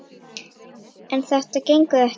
En þetta gengur ekki!